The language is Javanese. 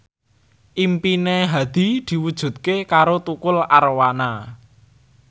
impine Hadi diwujudke karo Tukul Arwana